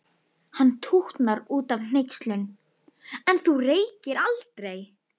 Hann tútnar út af hneykslun: En þú reykir aldrei!